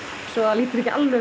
svo að líti ekki alveg